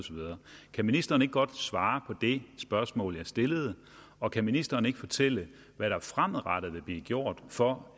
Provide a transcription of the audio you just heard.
kan ministeren ikke godt svare på det spørgsmål jeg stillede og kan ministeren ikke fortælle hvad der fremadrettet vil blive gjort for